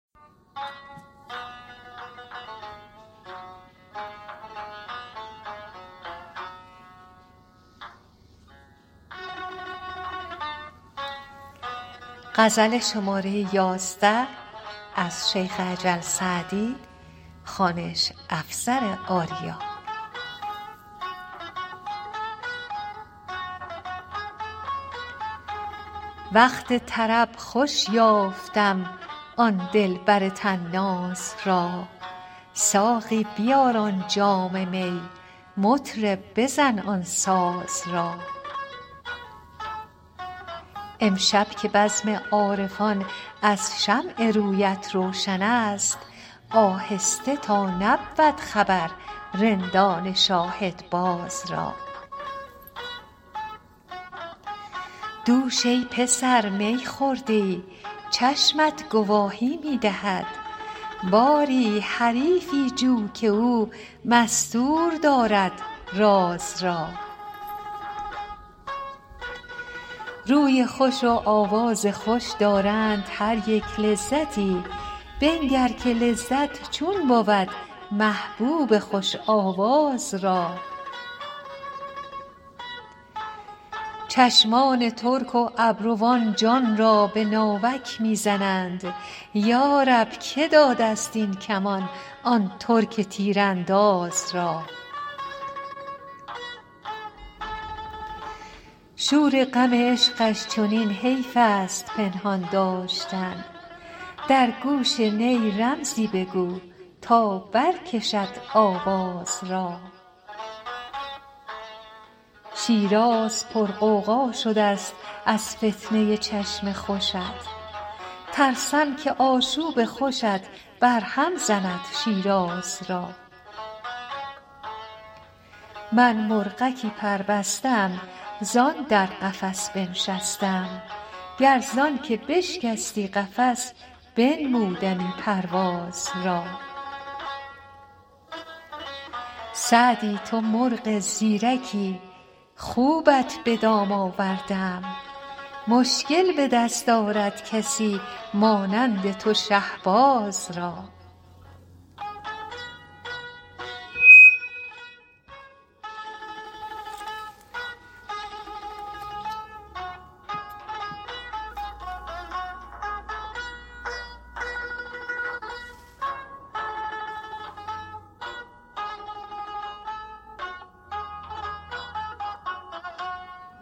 وقت طرب خوش یافتم آن دلبر طناز را ساقی بیار آن جام می مطرب بزن آن ساز را امشب که بزم عارفان از شمع رویت روشن است آهسته تا نبود خبر رندان شاهدباز را دوش ای پسر می خورده ای چشمت گواهی می دهد باری حریفی جو که او مستور دارد راز را روی خوش و آواز خوش دارند هر یک لذتی بنگر که لذت چون بود محبوب خوش آواز را چشمان ترک و ابروان جان را به ناوک می زنند یا رب که داده ست این کمان آن ترک تیرانداز را شور غم عشقش چنین حیف است پنهان داشتن در گوش نی رمزی بگو تا برکشد آواز را شیراز پرغوغا شده ست از فتنه ی چشم خوشت ترسم که آشوب خوشت برهم زند شیراز را من مرغکی پربسته ام زان در قفس بنشسته ام گر زان که بشکستی قفس بنمودمی پرواز را سعدی تو مرغ زیرکی خوبت به دام آورده ام مشکل به دست آرد کسی مانند تو شهباز را